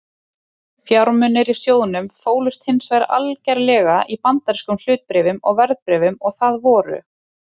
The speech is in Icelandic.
Fjármunirnir í sjóðnum fólust hins vegar algerlega í bandarískum hlutabréfum og verðbréfum og það voru